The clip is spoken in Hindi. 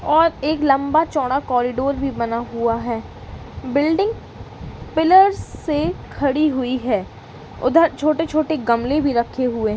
और एक लंबा चौड़ा कॉरिडोर भी बना हुआ है। बिल्डिंग पिलर्स से खड़ी हुई है। उधर छोटे-छोटे गमले भी रखे हुए --